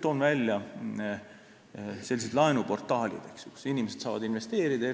Toon näiteks sellised laenuportaalid, kus inimesed saavad investeerida